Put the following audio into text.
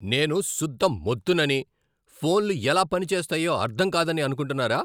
నేను శుద్ధ మొద్దునని, ఫోన్లు ఎలా పనిచేస్తాయో అర్థం కాదని అనుకుంటున్నారా?